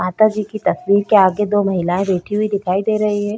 माता जी की तस्वीर के आगे दो महिलाएं बैठी हुई दिखाई दे रही है।